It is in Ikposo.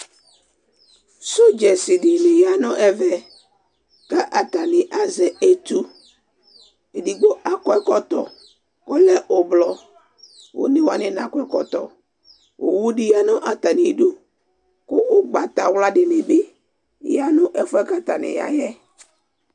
Sɔdzɛs dini yanʋ ɛvɛ kʋ atani azɛ etʋ edigbo akɔ ɛkɔtɔ kʋ ɔlɛ ʋblɔ onewani nakɔ ɛkɔtɔ owʋdi yanʋ atami idʋ kʋ ʋgbatawla dini bi yanʋ ɛfʋɛ kʋ atani yayɛ